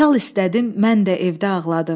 Şal istədim, mən də evdə ağladım.